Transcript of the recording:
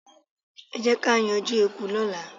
Ẹ jẹ́ ká yanjú eku lọ́la.